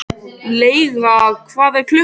Lauga, hvað er klukkan?